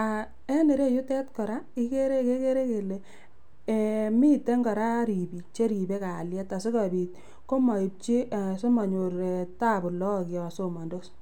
aah en ireyutet koraa ikere kekere kele eeh miten koraa ribik cheribe kalyet asikopit komoipji ee simonyor tabu lok yon somondos.